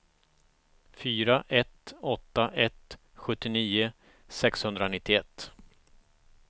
fyra ett åtta ett sjuttionio sexhundranittioett